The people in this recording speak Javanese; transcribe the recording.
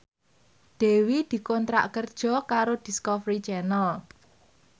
Dewi dikontrak kerja karo Discovery Channel